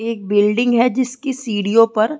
एक बिल्डिंग है जिसकी सीढ़ियो पर --